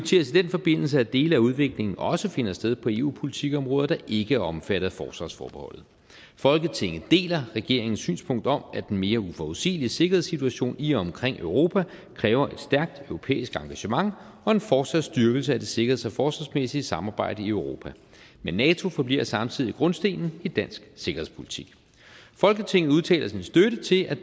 forbindelse at dele af udviklingen også finder sted på eu politikområder der ikke er omfattet af forsvarsforbeholdet folketinget deler regeringens synspunkt om at den mere uforudsigelige sikkerhedssituation i og omkring europa kræver et stærkt europæisk engagement og en fortsat styrkelse af det sikkerheds og forsvarsmæssige samarbejde i europa men nato forbliver samtidig grundstenen i dansk sikkerhedspolitik folketinget udtaler sin støtte til at